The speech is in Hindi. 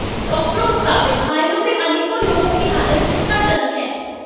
डाकटरों मुताबिक घायलों में अनेकों लोगों की हालत चिंताजनक है